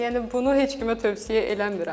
Yəni bunu heç kimə tövsiyə eləmirəm.